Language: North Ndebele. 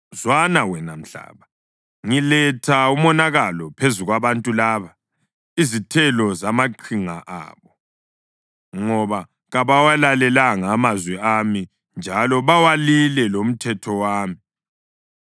Zwana, wena mhlaba, ngiletha umonakalo phezu kwabantu laba, izithelo zamaqhinga abo, ngoba kabawalalelanga amazwi ami njalo bawalile lomthetho wami.